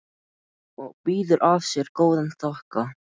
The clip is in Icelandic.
Hún býður af sér góðan þokka.